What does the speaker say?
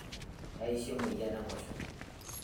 keeyaisho emoyain enkoshoke